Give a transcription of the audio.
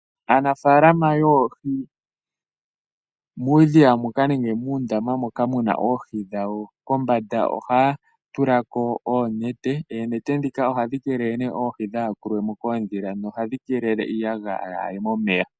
Aanafaalama yoohi muudhiya moka nenge muundama mu na oohi dhawo kombanda ohaya tula ko oonete. Oonete ndhika ohadhi keelele nee oohi opo dhaa yakulwe mo koondhila dho ohadhi keelele iiyagaya kaayi ye momeya.